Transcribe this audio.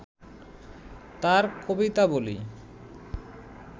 তাঁর কবিতাবলি